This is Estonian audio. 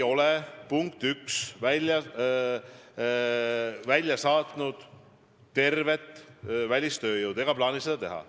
Punkt 1: me ei ole välja saatnud kogu välistööjõudu ega plaani seda teha.